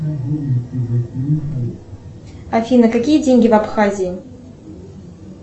афина какие деньги в абхазии